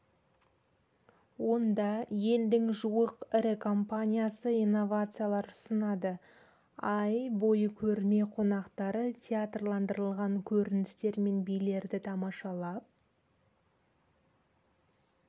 онда елдің жуық ірі компаниясы инновациялар ұсынады ай бойы көрме қонақтары театрландырылған көріністер мен билерді тамашалап